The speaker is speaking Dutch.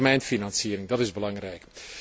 Een langetermijnfinanciering is belangrijk.